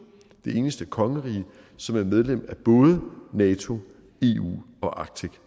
det eneste kongerige som er medlem af både nato eu og arctic